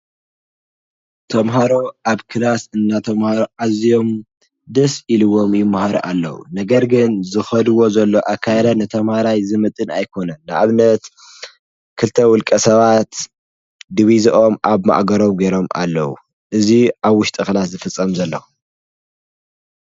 ተምሃሮ ኣብ ክላስ እናተማሃሩ ኣዚዮ ደስ ኢልዎም ይማሃሩ ኣለው። ነገር ግን ዝኸድዎ ዘለው ኣካያይዳ ንተምሃራይ ዝምጥን ኣይኮነን። ንኣብነት ክልተ ውልቀ ሰባት ድቪዘኦም ኣብ ማእገሮም ገይሮም ኣለው። እዚ ኣብ ውሽጢ ክላስ ዝፍፀም ዘሎ